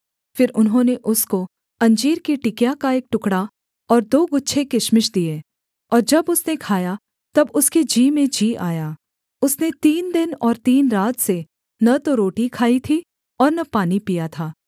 फिर उन्होंने उसको अंजीर की टिकिया का एक टुकड़ा और दो गुच्छे किशमिश दिए और जब उसने खाया तब उसके जी में जी आया उसने तीन दिन और तीन रात से न तो रोटी खाई थी और न पानी पिया था